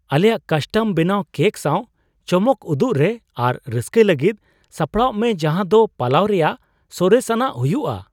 ᱟᱞᱮᱭᱟᱜ ᱠᱟᱥᱴᱚᱢ ᱵᱮᱱᱟᱣ ᱠᱮᱠ ᱥᱟᱶ ᱪᱚᱢᱚᱠ ᱩᱫᱩᱜ ᱨᱮ ᱟᱨ ᱨᱟᱹᱥᱠᱟᱹᱭ ᱞᱟᱹᱜᱤᱫ ᱥᱟᱯᱲᱟᱜ ᱢᱮ ᱡᱟᱦᱟ ᱫᱚ ᱯᱟᱞᱟᱣ ᱨᱮᱭᱟᱜ ᱥᱚᱨᱮᱥ ᱟᱱᱟᱜ ᱦᱩᱭᱩᱜᱼᱟ ᱾